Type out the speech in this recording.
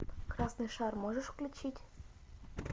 красный шар можешь включить